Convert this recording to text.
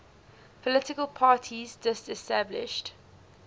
political parties disestablished